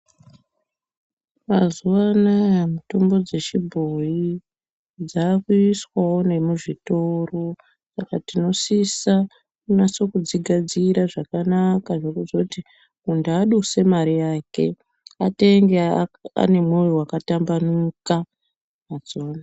Mazuva anaya mitombo dzechibhoyi dzakuiswavo nemuzvitoro. Saka tinosisa kunasa kudzigadzira zvakanaka, zvekuzoti muntu aduse mari yake atenge anemwoyo wakatambanuka.